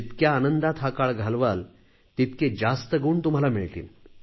जितक्या आनंदात हा काळ घालवाल तितके जास्त गुण तुम्हाला मिळतील